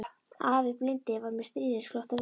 Afi blindi var með stríðnisglott á vör.